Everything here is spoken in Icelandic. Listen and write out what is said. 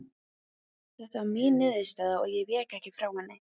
Þeta var mín niðurstaða og ég vék ekki frá henni.